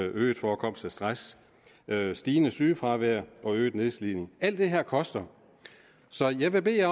øget forekomst af stress stigende sygefravær og øget nedslidning alt det her koster så jeg vil bede